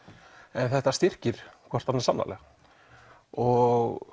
en þetta styrkir hvort annað sannarlega og